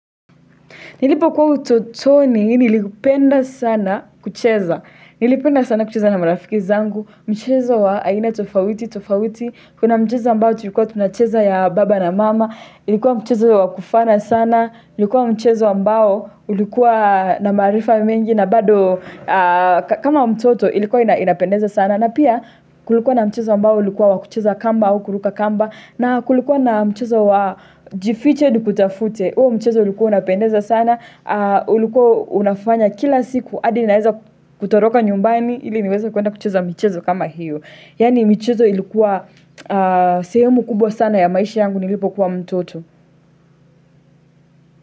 Nilipo kuwa utotoni, nilipenda sana kucheza, nilipenda sana kucheza na marafiki zangu, mcheza wa aina tofauti, tofauti, kuna mchezo ambao tulikuwa tunacheza ya baba na mama, ilikuwa mchezo wa kufana sana, ilikuwa mchezo wa ambao ulikuwa na maarifa mingi na bado kama mtoto ilikuwa inapendeza sana. Na pia kulikuwa na mchezo ambao ilikuwa wakucheza kamba au kuruka kamba na kulikuwa na mchezo wa jifiche nikutafute huo mchezo ulikuwa unapendeza sana ulikuwa unafanya kila siku adinaeza kutoroka nyumbani ili niweze kuenda kucheza mchezo kama hiyo Yaani michezo ilikuwa sehemu kubwa sana ya maishi yangu nilipo kuwa mtoto.